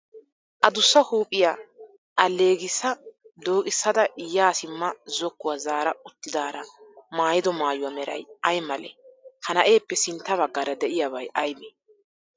Adussa huuphiyaa alleegissa dooqissada yaa simma zokkuwaa zaara uttidaara mayyido mayyuwa meray ayi male? Ha na'eeppe sintta baggaara diyaabay ayibee?